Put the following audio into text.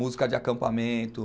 Música de acampamento.